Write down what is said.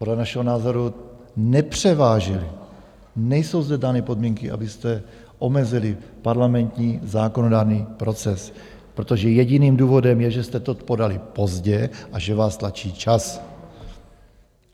Podle našeho názoru nepřevážily, nejsou zde dány podmínky, abyste omezili parlamentní zákonodárný proces, protože jediným důvodem je, že jste to podali pozdě a že vás tlačí čas.